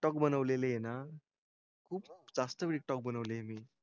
Big talk बनवलेली आहे ना खूप जास्त बिग टॉक बनवली आहे मी.